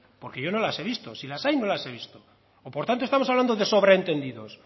porque yo no las he visto si las hay no las he visto por tanto estamos hablando de sobreentendidos